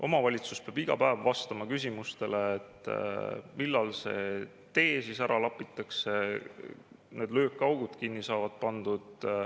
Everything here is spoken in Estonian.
Omavalitsus peab iga päev vastama küsimustele, millal see tee ära lapitakse, millal need löökaugud kinni saavad pandud.